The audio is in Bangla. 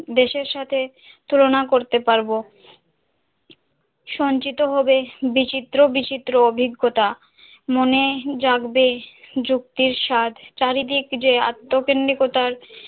দেশের সাথে তুলনা করতে পারব, সঞ্চিত হবে বিচিত্র বিচিত্র অভিজ্ঞতা মনে জাগবে যুক্তির স্বাদ চারিদিকে যে আত্মকেন্দ্রিকতার